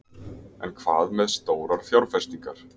En hvað með stórar fjárfestingar?